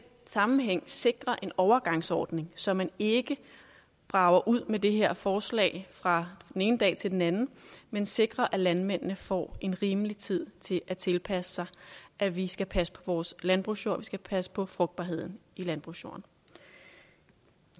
sammenhæng sikrer en overgangsordning så man ikke brager ud med det her forslag fra den ene dag til den anden men sikrer at landmændene får en rimelig tid til at tilpasse sig at vi skal passe på vores landbrugsjord vi skal passe på frugtbarheden i landbrugsjorden